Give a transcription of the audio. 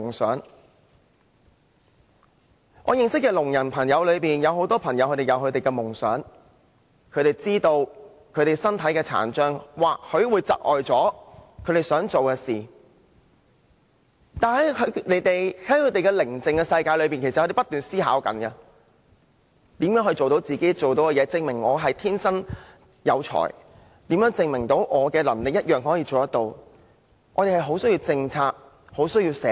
在我認識的聾人朋友中，許多都有自己的夢想，他們明白自己身體的殘障或許會窒礙他們達到夢想的努力，但其實他們在各自無聲的世界中不斷思考如何可以做到自己想做的事，以證明自己的才能，思考如何證明憑自己的能力同樣也可以有所作為。